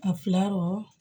A fila kɔrɔ